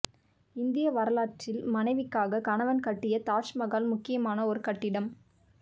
இந்திய வரலாற்றில் மனைவிக்காகக் கணவன் கட்டிய தாஜ்மகால் முக்கியமான ஒரு கட்டிடம்